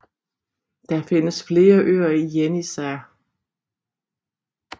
Der findes flere øer i Jenisej